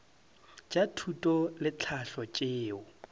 tša thuto le tlhahlo tšeo